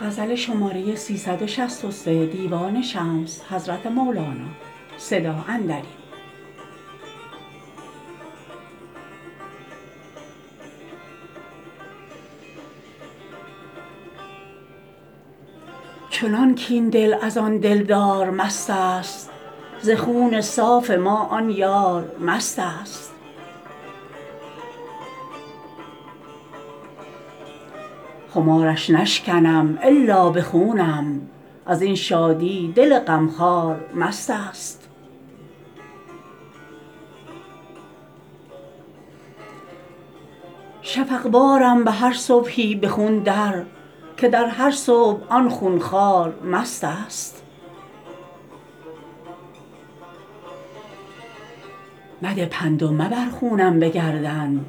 چنان کاین دل از آن دلدار مستست ز خوف صاف ما آن یار مستست خمارش نشکنم الا به خونم از این شادی دل غمخوار مستست شفق وارم به هر صبحی به خون در که در هر صبح آن خون خوار مستست مده پند و مبر خونم به گردن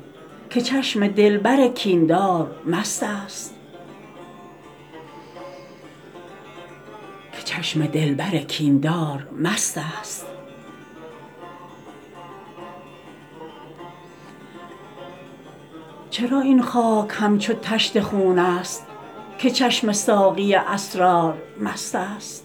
که چشم دلبر کین دار مستست چرا این خاک همچون طشت خون ست که چشم ساقی اسرار مستست